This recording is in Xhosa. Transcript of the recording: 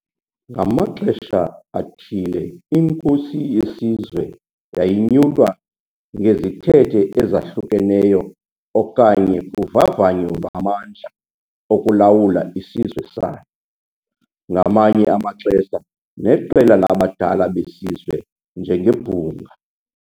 Ngamaxesha athile inkosi yesizwe yayinyulwa ngezithethe ezahlukeneyo okanye kuvavanyo lwamandla okulawula isizwe sayo, ngamanye amaxesha neqela labadala besizwe njengebhunga.